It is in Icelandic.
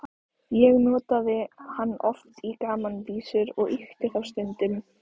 Ég notaði hann oft í gamanvísur og ýkti þá stundum.